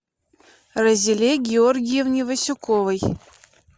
разиле георгиевне васюковой